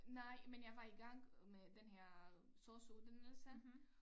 Nej men jeg var i gang med den her sosu uddannelse